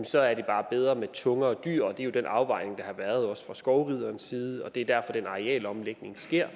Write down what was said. så er det bare bedre med tungere dyr og det er jo den afvejning der også har været fra skovriderens side det er derfor den arealomlægning sker